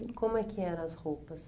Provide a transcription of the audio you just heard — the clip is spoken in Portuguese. E como é que eram as roupas?